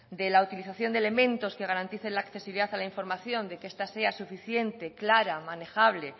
de la utilización de elementos que garanticen la accesibilidad a la información de que esta sea suficiente clara manejable